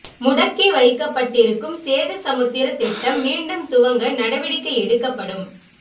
முடக்கி வைக்கப்பட்டிருக்கும் சேது சமுத்திர திட்டம் மீண்டும் துவங்க நடவடிக்கை எடுக்கப்படும்